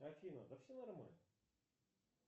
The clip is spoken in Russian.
афина да все нормально